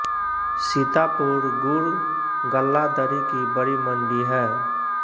सीतापुर गुड़ गल्ला दरी की बड़ी मंडी है